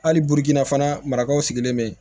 Hali burukina fana marakaw sigilen bɛ yen